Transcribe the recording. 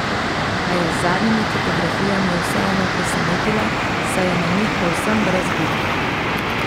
A je z zadnjimi fotografijami vseeno presenetila, saj je na njih povsem brez gub!